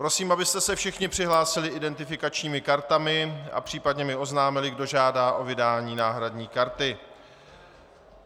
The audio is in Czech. Prosím, abyste se všichni přihlásili identifikačními kartami a případně mi oznámili, kdo žádá o vydání náhradní karty.